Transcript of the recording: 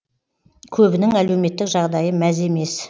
көбінің әлеуметтік жағдайы мәз емес